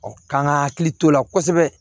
k'an ka hakili to o la kosɛbɛ